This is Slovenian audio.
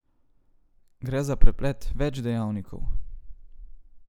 Gre za preplet več dejavnikov.